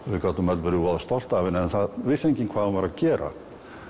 við gátum öll verið voða stolt af henni en það vissi enginn hvað hún var að gera